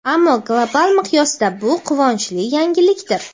ammo global miqyosda bu quvonchli yangilikdir.